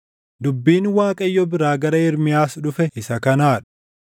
Dubbiin Waaqayyo biraa gara Ermiyaas dhufe isa kanaa dha: